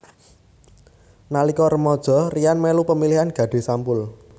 Nalika remaja Ryan melu pemilihan Gadis Sampul